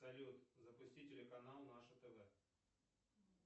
салют запусти телеканал наше тв